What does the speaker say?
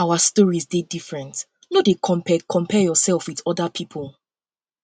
our stories dey different no dey compare compare yoursef wit oda pipo